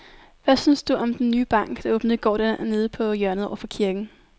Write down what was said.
Hvad synes du om den nye bank, der åbnede i går dernede på hjørnet over for kirken?